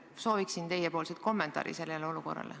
Sooviksin kuulda teie kommentaari sellele olukorrale.